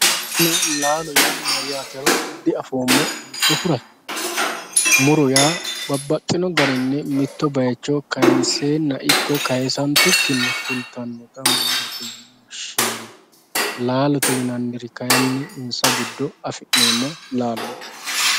muronna laalo yaa mayaatero di'afoomo yootohura muro yaa babbaxino garinni mitto baayiicho kaayiinseena ikko kaasantukinni fultannota murote yine woshshinanni laalote yinanniri kayiinni insa giddo afi'neemo lalooti.